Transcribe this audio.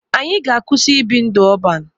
Anyị ga-akwụsị ibi ndụ ọban.